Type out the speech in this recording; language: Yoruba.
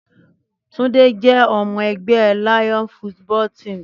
Túndé jẹ́ ọmọ ẹgbẹ́ Lion's football team